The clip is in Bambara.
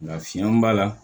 Nka fiɲɛ b'a la